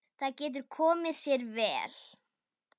Það getur komið sér vel.